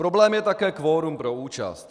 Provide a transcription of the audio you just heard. Problém je také kvorum pro účast.